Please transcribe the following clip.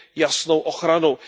jasnou ochranu.